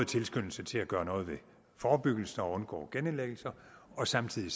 tilskyndelsen til at gøre noget ved forebyggelsen og undgå genindlæggelser og samtidig